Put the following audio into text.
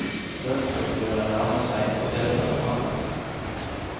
Lønnsoppgjøret nærmer seg, og det skal forhandles.